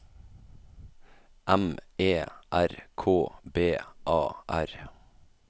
M E R K B A R